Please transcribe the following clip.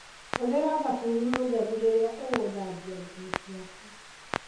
Hũthĩra thabuni mũtheru rĩria ũguthambia nguo ciaku.